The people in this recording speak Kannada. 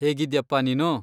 ಹೇಗಿದ್ಯಪ್ಪಾ ನೀನು?